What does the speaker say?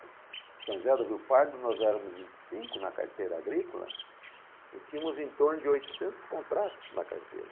São José do Rio Pardo, nós éramos em cinco na carteira agrícola e tínhamos em torno de oitocentos contratos na carteira.